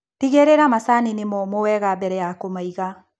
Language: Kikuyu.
Tigĩrĩra macani nĩmomũ wega mbere ya kũmaiga.